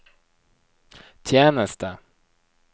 tjeneste